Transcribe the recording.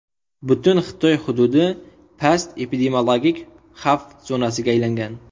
Butun Xitoy hududi past epidemiologik xavf zonasiga aylangan .